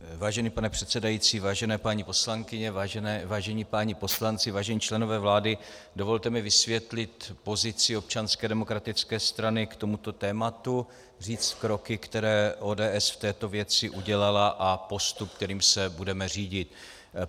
Vážený pane předsedající, vážené paní poslankyně, vážení páni poslanci, vážení členové vlády, dovolte mi vysvětlit pozici Občanské demokratické strany k tomuto tématu, říct kroky, které ODS v této věci udělala, a postup, kterým se budeme řídit.